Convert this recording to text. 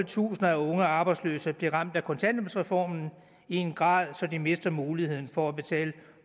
tusinder af unge arbejdsløse blive ramt af kontanthjælpsreformen i en grad så de mister muligheden for at betale